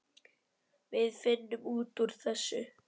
Við finnum út úr þessu.